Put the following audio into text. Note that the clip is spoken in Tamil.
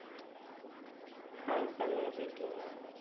hi கலை எப்படி இருக்கீங்க?